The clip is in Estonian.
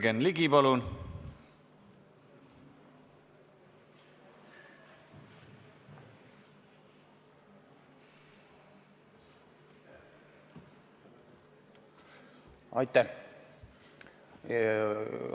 Jürgen Ligi, palun!